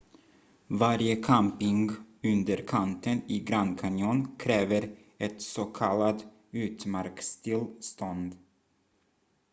varje camping under kanten i grand canyon kräver ett s.k. utmarkstillstånd